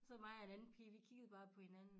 Så mig og en anden pige vi kiggede bare på hinanden